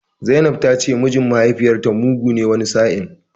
Zainab ta ce mijin mahaifiyarta mugu ne wani sa'in.